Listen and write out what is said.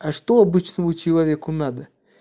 а что обычному человеку надо